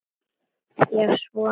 Vá, svona lengi?